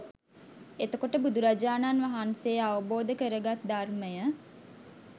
එතකොට බුදුරජාණන් වහන්සේ අවබෝධ කරගත් ධර්මය